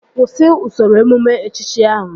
Kwụsị usoro emume echichi ahụ!